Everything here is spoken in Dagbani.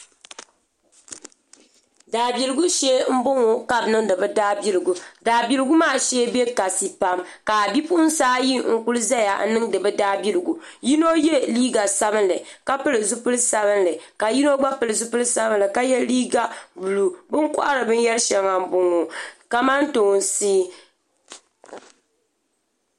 Daabiligu shee n boŋo ka bi niŋdi bi daabiligu daabiligu maa shee bɛ kasi pam ka bipuɣunsi ayi n kuli ʒɛya n niŋdi bi daabiligu yino yɛ liiga sabinli ka pili zipili sabinli ka yino gba pili zipili sabinli ka yɛ liiga buluu bi ni kohari binyɛri shɛŋa n boŋo kamantoosi